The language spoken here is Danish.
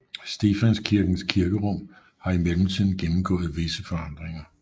Stefanskirkens kirkerum har i mellemtiden gennemgået visse forandringer